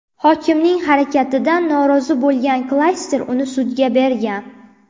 Hokimning harakatidan norozi bo‘lgan klaster uni sudga bergan.